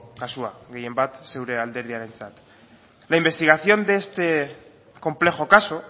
kasua gehienbat zeure alderdiarentzat la investigación de este complejo caso